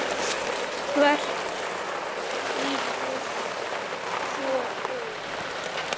Hvers nýtur svo þjóðin?